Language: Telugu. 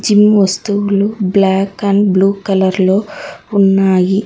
కొన్ని వస్తువులు బ్లాక్ అండ్ బ్లూ కలర్ లో ఉన్నాయి.